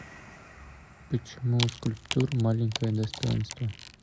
почему у скульптур маленькое достоинство